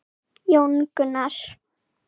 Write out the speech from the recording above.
Jón Gunnar.